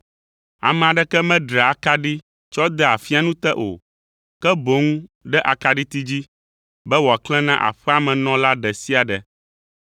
Ame aɖeke medraa akaɖi tsɔ dea afianu te o, ke boŋ ɖe akaɖiti dzi, be wòaklẽ na aƒea me nɔla ɖe sia ɖe.